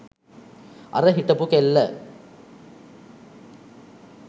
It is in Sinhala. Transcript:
අර හිටපු කෙල්ල